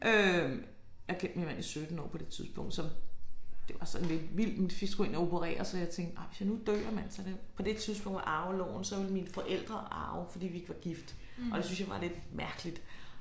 Øh jeg havde kendt min mand i 17 år på det tidspunkt så det var sådan lidt vildt fordi så skulle jeg ind og opereres så tænkte jeg hvis jeg nu dør mand så det på det tidspunkt med arveloven så ville mine forældre arve fordi vi ikke var gift og det syntes jeg var lidt mærkeligt